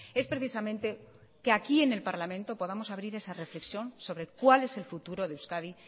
es precisamente que aquí en el parlamento podamos abrir esa reflexión sobre cuál es el futuro de euskadi